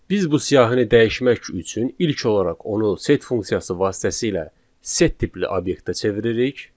Biz bu siyahını dəyişmək üçün ilk olaraq onu set funksiyası vasitəsilə set tipli obyektə çeviririk.